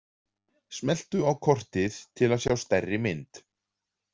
Smelltu á kortið til að sjá stærri mynd.